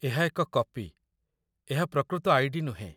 ଏହା ଏକ କପି, ଏହା ପ୍ରକୃତ ଆଇ.ଡି. ନୁହେଁ